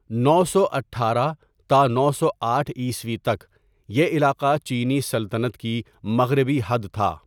نو سو اٹھارہ تا نو سو آٹھ عیسوی تک یہ علاقہ چینی سلطنت کی مغربی حد تھا.